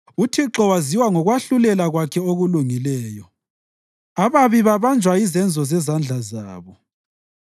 UThixo waziwa ngokwahlulela kwakhe okulungileyo; ababi babanjwa yizenzo zezandla zabo.